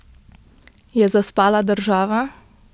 Je zaspala država?